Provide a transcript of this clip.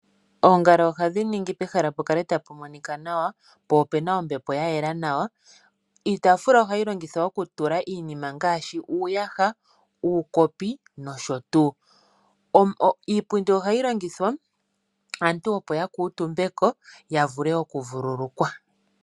Ongala ohadhi ningi pehala pukale tapu monika nawa po opuna ombepo yayela nawa. Iipundi hayi longithwa aantu opo yakutumbeko yavule oku vululukwa.